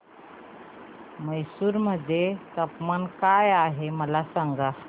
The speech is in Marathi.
म्हैसूर मध्ये तापमान काय आहे मला सांगा